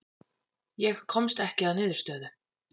Ég komst ekki að niðurstöðu.